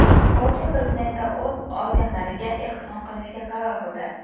Polsha prezidenti o‘z organlarini ehson qilishga qaror qildi.